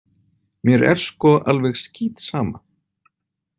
Mér er sko alveg skítsama!